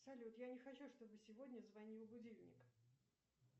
салют я не хочу чтобы сегодня звонил будильник